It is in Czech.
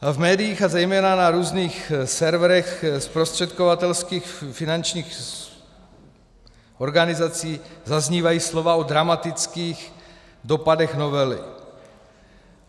V médiích a zejména na různých serverech zprostředkovatelských finančních organizací zaznívají slova o dramatických dopadech novely.